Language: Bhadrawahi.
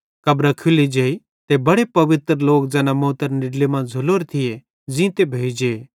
कब्रां खुल्ली जेई ते बड़े पवित्र लोक ज़ैना मौतरी निड्ला मां झ़ुलोरे थिये ज़ींते भोइ जे